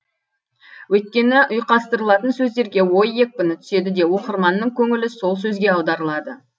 өйткені ұйқастырылатын сөздерге ой екпіні түседі де оқырманның көңілі сол сөзге аударылады